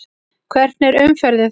Hvernig er umferðin þar?